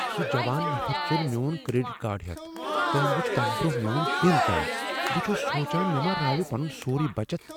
سُہ جوان نفر ژوٚل میون کریڈٹ کارڈ ہیتھ ۔ تٔمۍ وُچھ تمہِ برونہہ میون پِن تام ۔ بہٕ چُھس سونچان مےٚ راوِ پنُن سوروٕے بچت ۔